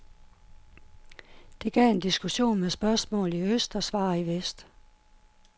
Det gav en diskussion med spørgsmål i øst og svar i vest.